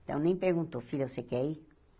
Então, nem perguntou, filha, você quer ir?